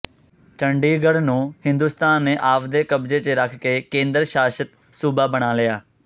ਚੰਡੀਗੜ੍ਹ ਨੂੰ ਹਿੰਦੁਸਤਾਨ ਨੇ ਆਵਦੇ ਕਬਜ਼ੇ ਚ ਰੱਖ ਕੇ ਕੇਂਦਰ ਸ਼ਾਸ਼ਤ ਸੂਬਾ ਬਣਾ ਲਿਆ